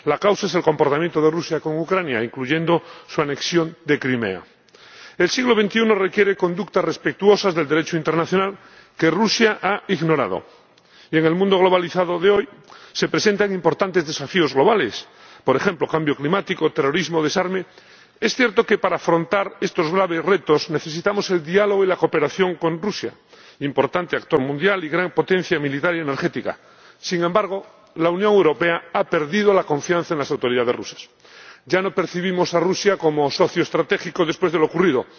Señor Presidente, las relaciones de la Unión Europea con Rusia han experimentado un gran deterioro. La causa es el comportamiento de Rusia con Ucrania, incluyendo su anexión de Crimea. El siglo XXI requiere conductas respetuosas del Derecho internacional que Rusia ha ignorado. En el mundo globalizado de hoy se presentan importantes desafíos globales, por ejemplo, cambio climático terrorismo, desarme. Es cierto que para afrontar estos graves retos necesitamos el diálogo y la cooperación con Rusia, importante actor mundial y gran potencia militar y energética. Sin embargo, la Unión Europea ha perdido la confianza en las autoridades rusas. Ya no percibimos a Rusia como socio estratégico después de lo ocurrido.